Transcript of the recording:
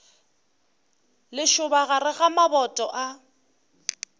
lešoba gare ga maboto a